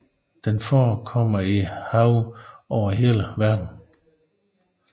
Den forekommer i have over hele verden